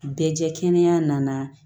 Bɛɛ jɛ kɛnɛ nana